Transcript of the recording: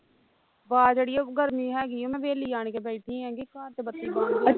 ਆਵਾਜ ਅੜੀਏ ਗਰਮੀ ਹੈਗੀ ਮੈਂ ਹਵੇਲੀ ਆਣ ਕੇ ਬੈਠੀ ਹੈਗੀ ਘਰ ਤੇ ਬੱਤੀ ਬੰਦ